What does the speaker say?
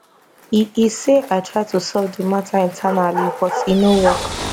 e e say i try to solve di mata internally but e no work